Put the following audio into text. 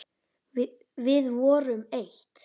Við vorum eitt.